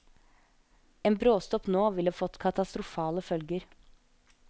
En bråstopp nå ville fått katastrofale følger.